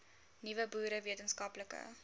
nuwe boere wetenskaplike